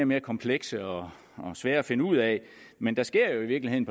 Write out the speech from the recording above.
mere komplekse og svære at finde ud af men der sker jo i virkeligheden